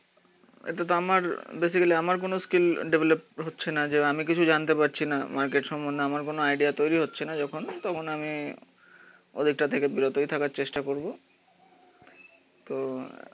এতেতো আমার বেসিক্যালি আমার কোনো স্কিল ডেভেলপ হচ্ছে না যে আমি কিছু জানতে পারছি না, মার্কেট সম্বন্ধে আমার কোনো আইডিয়া তৈরী হচ্ছে না যখন। আমি ওদেরটা থেকে বিরতই থাকার চেষ্টা করবো। তো